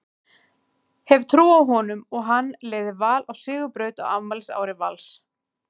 Hef trú á honum og hann leiði Val á sigurbraut á afmælisári Vals.